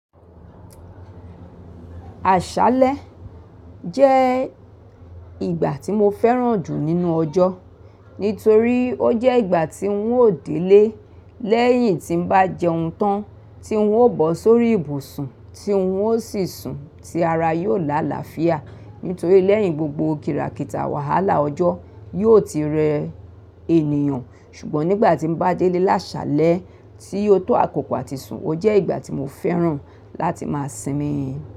Àṣálẹ́ jẹ́ ìgbà tí mo fẹ́ràn jù nínú ọjọ́. Nítorí ó jẹ́ ìgbà tí ń ó délé lẹ́yìn tí ń bá jẹun tán, tí ń ó bọ́ sórí ìbùsùn, tí ń ó sì sùn, tí ara yóò lá àlàáfíà. Nítorí lẹ́yìn gbogbo kìràkìtà wàhálà ọjọ́ yóò ti rẹ ènìyàn. Ṣùgbọ́n nígbà tí ń bá délé lásàlẹ́, tí ó tó àkókò àti sùn, ó jẹ́ ìgbà tí mo fẹ́ràn láti máa sinmi.